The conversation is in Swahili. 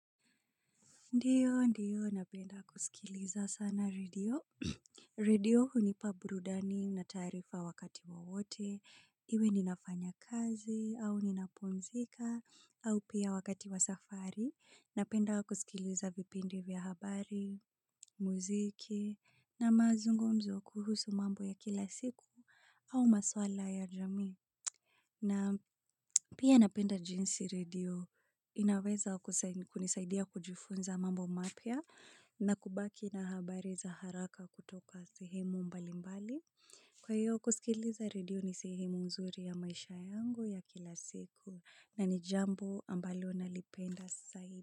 Ndiyo, ndiyo, napenda kusikiliza sana radio. Radio hunipa burudani na tarifa wakati wowote. Iwe ninafanya kazi, au ninapumzika, au pia wakati wa safari. Napenda kusikiliza vipindi vya habari, muziki, na mazungomzo kuhusu mambo ya kila siku, au maswala ya jami. Na pia napenda jinsi radio, inaweza kunisaidia kujufunza mambo mapia. Na kubaki na habari za haraka kutoka sehemu mbalimbali kwa hiyo kusikiliza radio ni sehemu zuri ya maisha yangu ya kila siku na ni jambo ambalo nalipenda sahi.